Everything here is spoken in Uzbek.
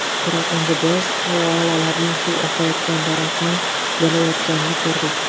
Biroq endi biz koalalarning suv oqayotgan daraxtni yalayotganini ko‘rdik.